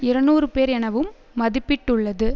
இருநூறு பேர் எனவும் மதிப்பிட்டுள்ளது